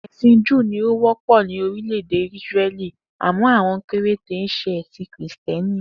È̩sìn Júù ni ó wó̩pò̩ jù lo̩ ní orilè̩-èdè Ísíré̩lì àmó̩ àwo̩n péréte ń s̩e è̩sì̩n Krìsté̩nì